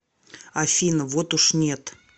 афина вот уж нет